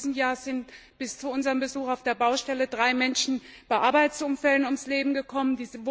allein in diesem Jahr sind bis zu unserem Besuch auf der Baustelle drei Menschen bei Arbeitsunfällen ums Leben gekommen.